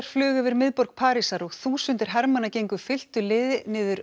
flugu yfir miðborg Parísar og þúsundir hermanna gengu fylktu liði niður